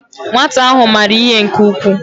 Nwata ahu mara ihe nke ukwuu